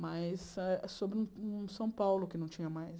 mas ah sobre um um São Paulo que não tinha mais.